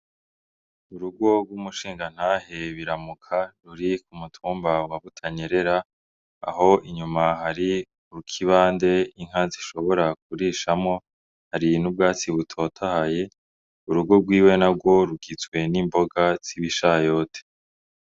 Urugo rw'umushinganahe biramuka ruri ku mutumbawa butanyerera aho inyuma hari urukibande inkanzi ishobora kurishamwo hari n'ubwatsi butotahaye urugo rwiwe na rworukitswe n'imboga zibishayote.